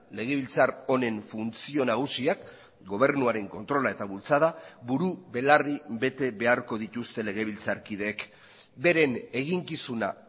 legebiltzar honen funtzio nagusiak gobernuaren kontrola eta bultzada buru belarri bete beharko dituzte legebiltzarkideek beren eginkizuna